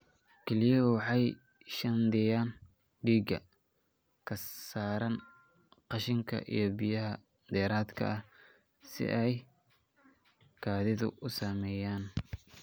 Kelyuhu waxay shaandheeyaan dhiiggaaga, ka saaraan qashinka iyo biyaha dheeraadka ah si ay kaadidu u sameeyaan.